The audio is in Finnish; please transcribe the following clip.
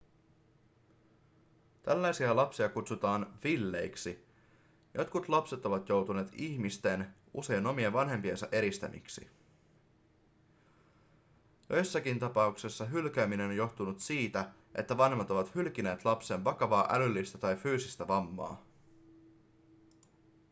tällaisia lapsia kutsutaan villeiksi". jotkut lapset ovat joutuneet ihmisten usein omien vanhempiensa eristämiksi. joissakin tapauksessa hylkääminen on johtunut siitä että vanhemmat ovat hylkineet lapsen vakavaa älyllistä tai fyysistä vammaa